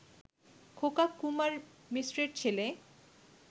খোকা কুমার মিশ্রের ছেলে